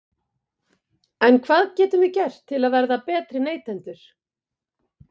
En hvað getum við gert til að verða betri neytendur?